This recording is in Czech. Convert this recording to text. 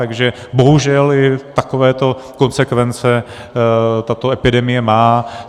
Takže bohužel i takovéto konsekvence tato epidemie má.